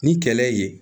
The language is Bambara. Ni kɛlɛ ye